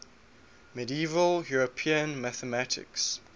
medieval european mathematics